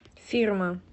фирма